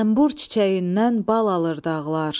Zənbur çiçəyindən bal alır dağlar.